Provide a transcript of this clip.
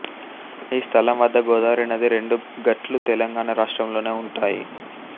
ఈ స్థలం వద్ద గోదావరి నది రెండు గట్లూ తెలంగాణ రాష్ట్రం లోనే ఉంటాయి